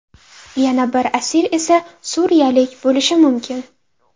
Yana bir asir esa suriyalik bo‘lishi mumkin.